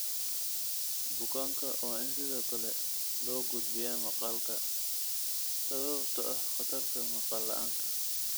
Bukaanka waa in sidoo kale loo gudbiyaa maqalka sababtoo ah khatarta maqal la'aanta.